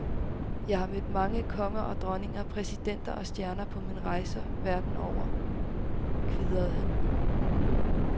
Jeg har mødt mange konger og dronninger, præsidenter og stjerner på mine rejser verden over, kvidrer han.